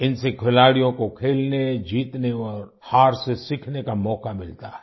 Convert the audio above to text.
इनसे खिलाड़ियों को खेलने जीतने और हार से सीखने का मौका मिलता है